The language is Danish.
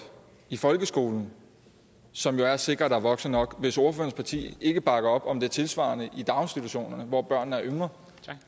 i folkeskolen som jo er at sikre at der er voksne nok hvis ordførerens parti ikke bakker op om det tilsvarende i daginstitutionerne hvor børnene er yngre